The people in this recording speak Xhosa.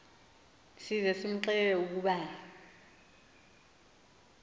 size kumxelela ukuba